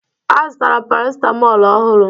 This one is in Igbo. A zụtara paracitamol ọhụrụ